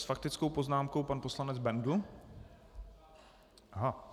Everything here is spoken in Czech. S faktickou poznámkou pan poslanec Bendl.